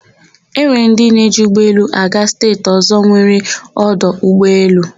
E nwere ndị na-eji ụgbọelu aga steeti ọ̀zọ́ nwere ọdụ ụgbọelu.